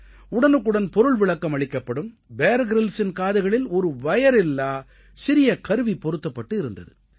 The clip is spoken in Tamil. உடனுக்குடன் பொருள்விளக்கம் அளிக்கப்படும் பியர் Gryllsஇன் காதுகளில் ஒரு வயரில்லா சிறிய கருவி பொருத்தப்பட்டு இருந்தது